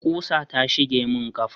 ƙusa ta shige mun kafa